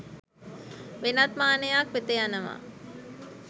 වෙනත් මානයක් වෙත යනවා.